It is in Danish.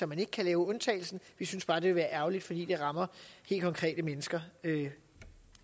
man ikke kan lave undtagelsen vi synes bare det ville være ærgerligt fordi det rammer helt konkrete mennesker